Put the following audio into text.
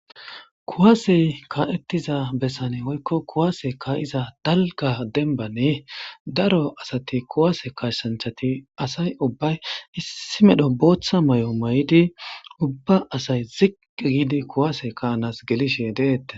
Kuwaase kaa7ethtiza besani woykko kuwaase kaa7iza keehi dalgga dembbani daro asathi kuwaase kaassanchchathi asay ubbay issi medho booththa maayo mayidi ubba asay ziqqi giidi kuwaase kaa7anas gelishee deeththes.